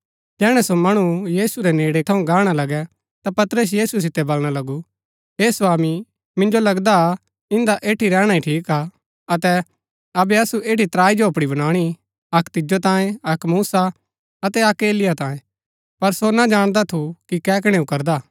जैहणै सो मणु यीशु रै नेड़ै थऊँ गाहणा लगै ता पतरस यीशु सितै वलणा लगु हे स्वामी मिन्जो लगदा इन्दा ऐठी रैहणा ही ठीक हा अतै अबै असु ऐठी त्राई झोपड़ी बनाणी अक्क तिजो तांऐ अक्क मूसा अतै अक्क एलिय्याह तांयें पर सो ना जाणदा थु कि कै कणैऊ करदा